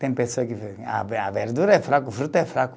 Tem pessoas que a ve, a verdura é fraca, o fruto é fraco.